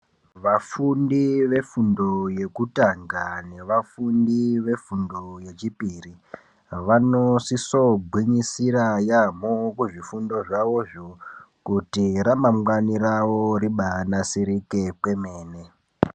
Vafundi vefundo yekutanga nevafundi vefundo yechipiri vanosiso gwinyisira yambo kuzvifundo zvavo zvo kuti ramangwani ravo riba nasirike kwemene